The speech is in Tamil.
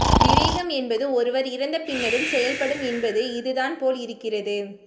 விவேகம் என்பது ஒருவர் இறந்தபின்னரும் செயல்படும் என்பது இதுதான் போல் இருக்கிறது